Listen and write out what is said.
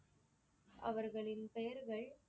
அவர்களின் பெயர்கள்